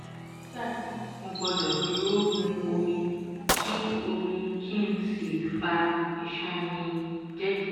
nígbà náà mo gbọdọ̀ dúró mu omi kí omi kí n sì fa iṣan mi jẹ́ẹ́jẹ́ẹ́